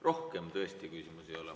Rohkem tõesti küsimusi ei ole.